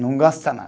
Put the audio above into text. Não gosta nada.